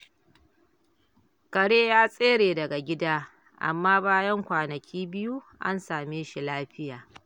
Kare ya tsere daga gida, amma bayan kwanaki biyu, an same shi lafiya.